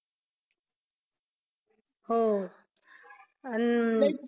हो अन